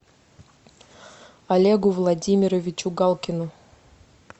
олегу владимировичу галкину